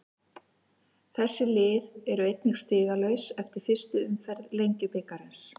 Þessi lið eru einnig stigalaus eftir fyrstu umferð Lengjubikarsins.